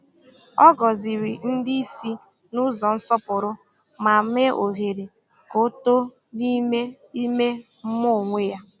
Ọ gọ̀zìrì ndị isi n’ụzọ nsọpụrụ, ma mee ohere ka ọ too n’ime ime mmụọ onwe ya.